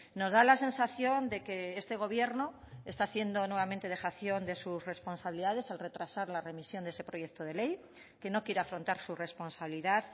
nos da la sensación de que este gobierno está haciendo nuevamente dejación de sus responsabilidades al retrasar la remisión de ese proyecto de ley que no quiere afrontar su responsabilidad